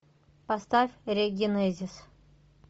поставь регенезис